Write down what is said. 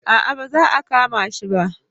A'a ba za a kama shi ba